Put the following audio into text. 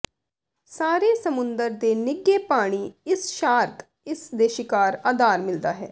ਸਾਰੇ ਸਮੁੰਦਰ ਦੇ ਨਿੱਘੇ ਪਾਣੀ ਇਸ ਸ਼ਾਰਕ ਇਸ ਦੇ ਸ਼ਿਕਾਰ ਆਧਾਰ ਮਿਲਦਾ ਹੈ